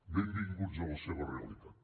benvinguts a la seva realitat